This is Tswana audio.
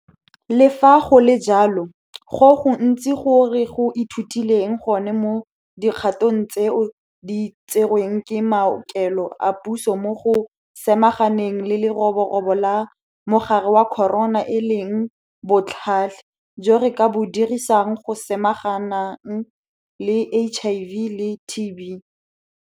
Le fa go le jalo, go gontsi go re go ithutileng gone mo dikgatong tseo di tserweng ke maokelo a puso mo go samaganeng le le-roborobo la mogare wa corona e leng botlhale jo re ka bo dirisang go samaganang le HIV le TB.